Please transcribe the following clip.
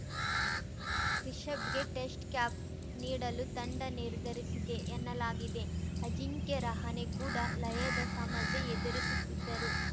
ರಿಶಭ್‌ಗೆ test cap ನೀಡಲು ತಂಡ ನಿರ್ಧರಿಸಿದೆ ಎನ್ನಲಾಗಿದೆ ಅಜಿಂಕ್ಯ ರಹಾನೆ ಕೂಡ ಲಯದ ಸಮಸ್ಯೆ ಎದುರಿಸುತ್ತಿದ್ದರೂ